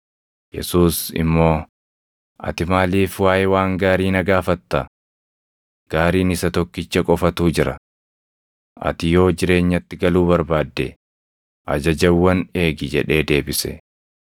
Yesuus immoo, “Ati maaliif waaʼee waan gaarii na gaafatta? Gaariin Isa Tokkicha qofatu jira. Ati yoo jireenyatti galuu barbaadde ajajawwan eegi” jedhee deebise.